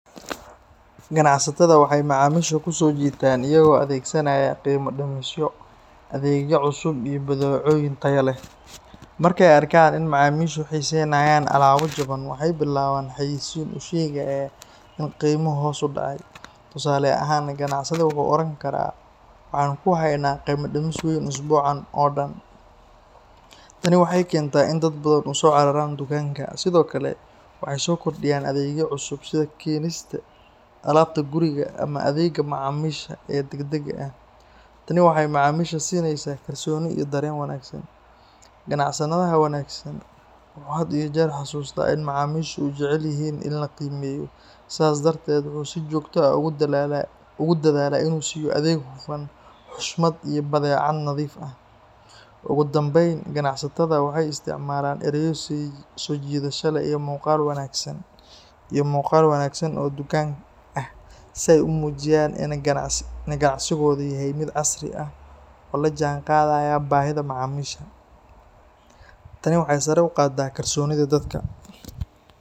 Ganacsatada waxay macaamiisha ku soo jiitaan iyaga oo adeegsanaya qiimo dhimisyo, adeegyo cusub iyo badeecooyin tayo leh. Marka ay arkaan in macaamiishu xiiseynayaan alaabo jaban, waxay bilaabaan xayeysiin u sheegaysa in qiimuhu hoos u dhacay. Tusaale ahaan, ganacsade wuxuu oran karaa “waxaan kuu haynaa qiimo dhimis weyn usbuucan oo dhan”. Tani waxay keentaa in dad badan u soo cararaan dukaanka. Sidoo kale, waxay soo kordhiyaan adeegyo cusub sida keenista alaabta guriga ama adeegga macaamiisha ee degdegga ah. Tani waxay macaamiisha siinaysaa kalsooni iyo dareen wanaagsan. Ganacsadaha wanaagsan wuxuu had iyo jeer xasuustaa in macaamiishu jecel yihiin in la qiimeeyo, sidaas darteed wuxuu si joogto ah ugu dadaalaa in uu siiyo adeeg hufan, xushmad iyo badeeco nadiif ah. Ugu dambeyn, ganacsatada waxay isticmaalaan ereyo soo jiidasho leh iyo muuqaal wanaagsan oo dukaanka ah si ay u muujiyaan in ganacsigoodu yahay mid casri ah oo la jaanqaadaya baahida macaamiisha. Tani waxay sare u qaadaa kalsoonida dadka.